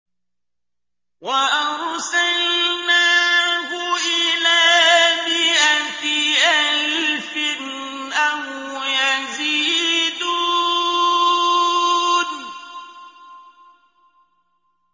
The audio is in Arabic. وَأَرْسَلْنَاهُ إِلَىٰ مِائَةِ أَلْفٍ أَوْ يَزِيدُونَ